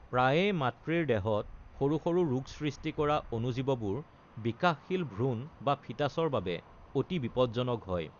প্ৰায়ে মাতৃৰ দেহত সৰু সৰু ৰোগ সৃষ্টি কৰা অণুজীৱবোৰ বিকাশশীল ভ্ৰূণ বা ফিটাছৰ বাবে অতি বিপদজনক হয়।